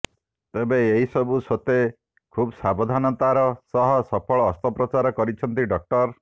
ତେବେ ଏହିସବୁ ସତ୍ୱେ ଖୁବ୍ ସାବଧାନତାର ସହ ସଫଳ ଅସ୍ତ୍ରୋପଚାର କରିଛନ୍ତି ଡାକ୍ତର